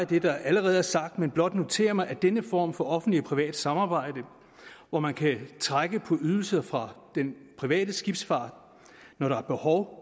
det der allerede er sagt men blot notere mig at denne form for offentligt privat samarbejde hvor man kan trække på ydelser fra den private skibsfart når der er behov